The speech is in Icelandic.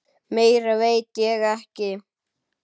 Meira veit ég ekki.